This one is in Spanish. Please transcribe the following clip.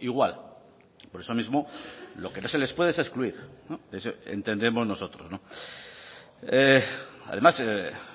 igual por eso mismo lo que no se les puede es excluir entendemos nosotros además